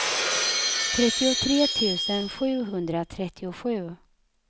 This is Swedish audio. trettiotre tusen sjuhundratrettiosju